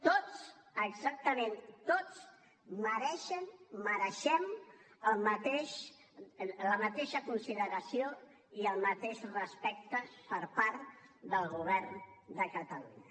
tots exactament tots mereixen mereixem la mateixa consideració i el mateix respecte per part del govern de catalunya